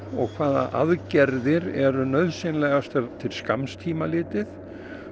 og hvaða aðgerðir eru nauðsynlegar til skamms tíma litið